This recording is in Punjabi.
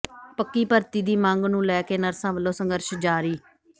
ਪੱਕੀ ਭਰਤੀ ਦੀ ਮੰਗ ਨੂੰ ਲੈ ਕੇ ਨਰਸਾਂ ਵੱਲੋਂ ਸੰਘਰਸ਼ ਜਾਰੀ